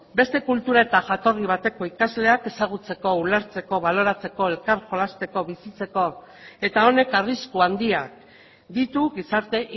beste kultura eta jatorri bateko ikasleak ezagutzeko ulertzeko baloratzeko elkar jolasteko bizitzeko eta honek arrisku handiak ditu gizarte